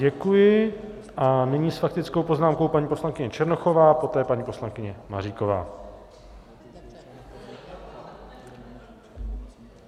Děkuji a nyní s faktickou poznámkou paní poslankyně Černochová, poté paní poslankyně Maříková.